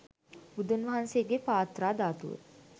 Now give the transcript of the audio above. බුදුන් වහන්සේගේ පාත්‍රා ධාතුව